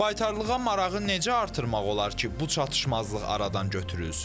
Baytarlığa marağı necə artırmaq olar ki, bu çatışmazlıq aradan götürülsün?